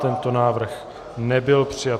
Tento návrh nebyl přijat.